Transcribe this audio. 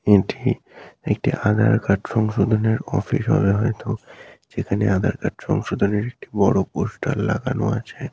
এটি একটি আধার কার্ড সংশোধনের অফিস হবে হয়তো যেখানে আধার কার্ড সংশোধনের বড় পোস্টার লাগানো আছে।